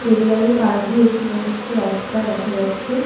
স্টেডিয়ামের পাশ দিয়ে একটি প্রশস্ত রাস্তা দেখা যাচ্ছে।